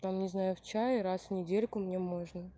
там не знаю в чае раз в недельку мне можно